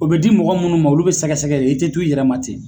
O bɛ di mɔgɔ minnu ma olu bɛ sɛgɛsɛgɛ ye i tɛ t'u yɛrɛ ma ten.